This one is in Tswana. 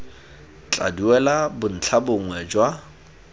tla duela bontlha bongwe jwa